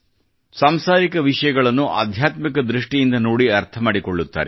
ಸಾಂಸಾರಿಕ ವಿಷಯಗಳನ್ನು ಆಧ್ಯಾತ್ಮಿಕ ದೃಷ್ಟಿಯಿಂದ ನೋಡಿ ಅರ್ಥ ಮಾಡಿಕೊಳ್ಳುತ್ತಾರೆ